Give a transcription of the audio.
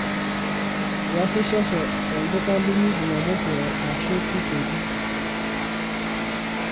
iasishosho to olduka linyi jumamosi ashu keikeni